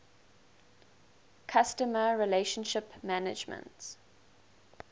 customer relationship management